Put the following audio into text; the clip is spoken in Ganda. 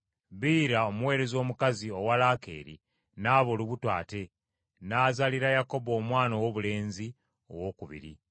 Biira omuweereza omukazi owa Laakeeri n’aba olubuto ate, n’azaalira Yakobo omwana owoobulenzi owookubiri.